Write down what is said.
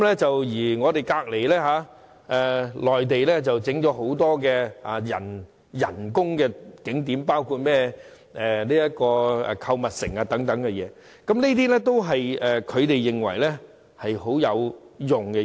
至於毗鄰的內地，則興建了很多人工景點，其中包括購物城，而這些都是內地認為很有用的。